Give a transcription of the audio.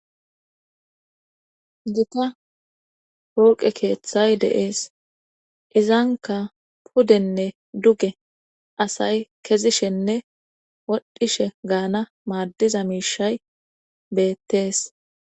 duka polqe keeththay deees izanka pudenne duge asay kezishenne wodhishe gaana maaddiza miishay beettees